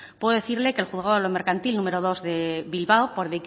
puedo decirle que el juzgado de lo mercantil número dos de bilbao